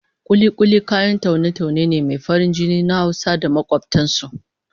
Kuli-kuli kayan taune-taune ne mai farin jini na Hausa da makobtan su